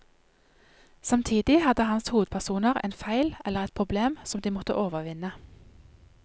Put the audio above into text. Samtidig hadde hans hovedpersoner en feil eller et problem, som de måtte overvinne.